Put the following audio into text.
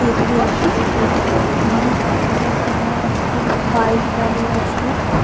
এটি একটি petrol pump এখানে একটি বাইক দাঁড়িয়ে আছে।